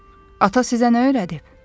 Ata sizə nə öyrədib?